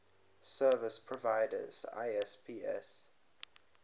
service providers isps